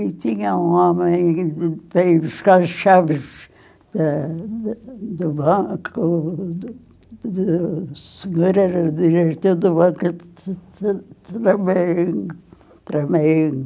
E tinha um homem para ir buscar as chaves eh, do banco, do do segundo do seguro te te tremendo, tremendo.